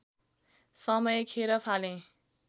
समय खेर फालेँ